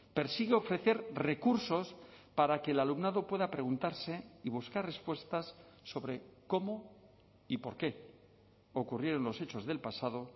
persigue ofrecer recursos para que el alumnado pueda preguntarse y buscar respuestas sobre cómo y por qué ocurrieron los hechos del pasado